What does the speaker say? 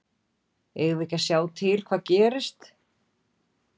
Eigum við ekki að sjá til hvað gerist?